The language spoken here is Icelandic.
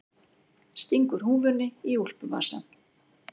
Stingur húfunni í úlpuvasann.